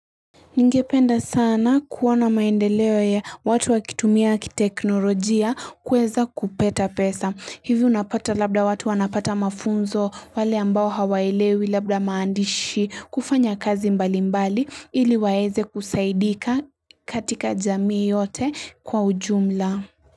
Ningependa sana kuwa na maendeleo ya watu wakitumia kiteknolojia kuweza kupata pesa. Hivyo unapata labda watu wanapata mafunzo wale ambao hawaelewi labda maandishi kufanya kazi mbali mbali ili waeze kusaidika katika jamii yote kwa ujumla.